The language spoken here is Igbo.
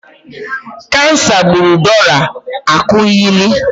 Kansa gburu Dora Akunyili.